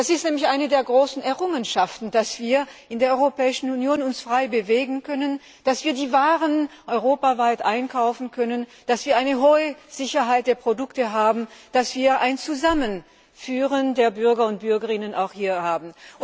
Es ist nämlich eine der großen Errungenschaften, dass wir uns in der Europäischen Union frei bewegen können, dass wir die Waren europaweit einkaufen können, dass wir eine hohe Sicherheit der Produkte haben, dass wir ein Zusammenführen der Bürger und Bürgerinnen auch hier haben.